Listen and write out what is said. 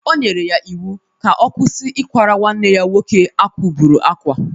O nyere ya iwu ka ọ kwụsị ikwara nwanne ya nwoke a kwugburu akwa!